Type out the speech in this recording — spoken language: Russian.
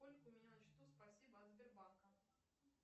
сколько у меня на счету спасибо от сбербанка